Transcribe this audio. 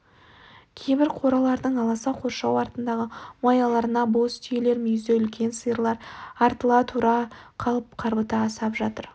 кейбір қоралардың аласа қоршау артындағы маяларына бос түйелер мүйізі үлкен сиырлар артыла тұра қалып қарбыта асап жатыр